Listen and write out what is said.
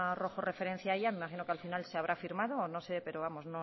rojo referencia a ella me imagino que al final se habrá firmado o no sé pero